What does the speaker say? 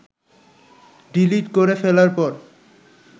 delete করে ফেলার পর